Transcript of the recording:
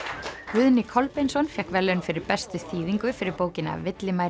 Guðni Kolbeinsson fékk verðlaun fyrir bestu þýðingu fyrir bókina